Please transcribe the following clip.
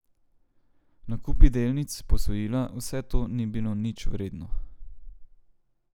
Nakupi delnic, posojila, vse to ni bilo nič vredno.